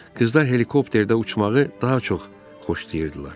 Qızlar helikopterdə uçmağı daha çox xoşlayırdılar.